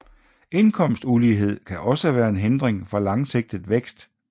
Indkomstulighed kan også være en hindring for langsigtet vækst